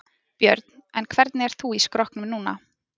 Björn: En hvernig ert þú í skrokknum núna?